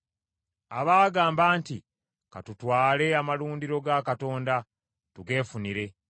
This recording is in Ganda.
abaagamba nti, “Ka tutwale amalundiro ga Katonda, tugeefunire.”